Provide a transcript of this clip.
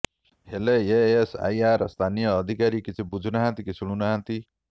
ହେଲେ ଏଏସଆଇର ସ୍ଥାନୀୟ ଅଧିକାରୀ କିଛି ବୁଝୁ ନାହାନ୍ତି କି ଶୁଣୁନାହାନ୍ତି